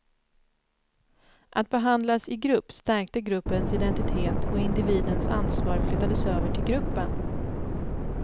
Att behandlas i grupp stärkte gruppens identitet och individens ansvar flyttades över till gruppen.